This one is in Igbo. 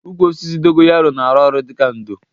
Ụkwụ osisi dogoyanro na arụ ọrụ dịka ndo